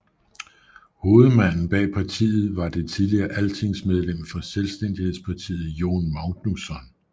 Hovedmanden bag partiet var det tidligere altingsmedlem for Selvstændighedspartiet Jón Magnússon